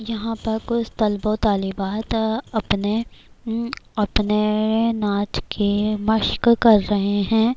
یھاں پرکچھ طلبوطالبات اپنے اپنے ناچ ک مشک کر رہی ہیں-